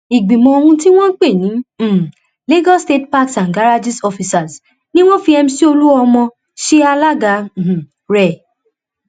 ìgbìmọ ohun tí wọn pè ní um lagos state parks and garrages officers ni wọn fi mc olomini ṣe alága um rẹ